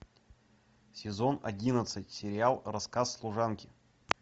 сезон одиннадцать сериал рассказ служанки